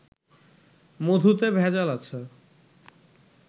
মধুতে ভেজাল আছে